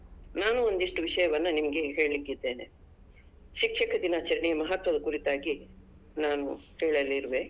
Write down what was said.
ನಾನು ಒಂದಿಷ್ಟು ವಿಷಯವನ್ನು ನಿಮ್ಗೆ ಹೇಳಿಕ್ಕೆ ಇದ್ದೇನೆ ಶಿಕ್ಷಕರ ದಿನಾಚರಣೆಯ ಮಹತ್ವದ ಕುರಿತಾಗಿ ನಾನು ಹೇಳಲಿರುವೆ.